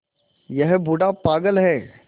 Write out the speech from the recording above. यह बूढ़ा पागल है